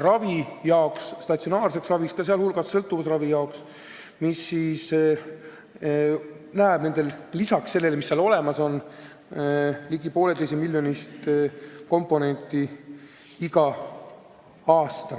ravimise jaoks, statsionaarse ravi jaoks, sh sõltuvusravi jaoks, lisaks sellele, mis seal olemas on, ligi 1,5 miljonit igal aastal.